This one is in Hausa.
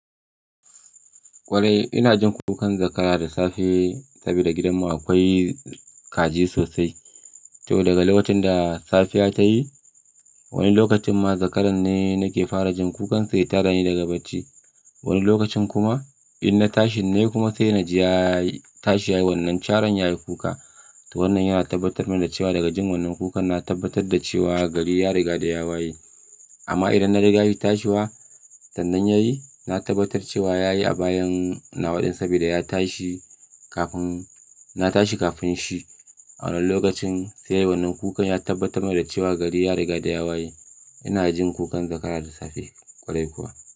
Kwarai ina jin kukan zakara da safe saboda gidanmu akwai kaji sosai. To daga lokacin da safiya ta yi, wani lokacin ma zakaran ne nake fara jin kukansa ya tad da ni daga bacci. Wani lokacin kuma in na tashi ne kuma sai na ji ya tashi yayi wannan caran yayi kuka. To wannan yana tabbatar da cewa daga jin wannan kukan na tabbatar da cewa gari ya riga da ya waye. Amma idan na riga shi tashiwa sannan yayi, na tabbatar cewa yayi a bayan nawaɗin saboda ya tashi kafin, na tashi kafin shi. A wannan lokacin sai wannan kukan ya tabbatar da cewa gari ya riga da ya waye. Ina jin kukan zakara da safe ƙwarai kuwa.